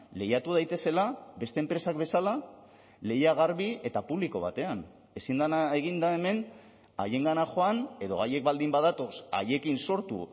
lehiatu daitezela beste enpresak bezala lehia garbi eta publiko batean ezin dena egin da hemen haiengana joan edo haiek baldin badatoz haiekin sortu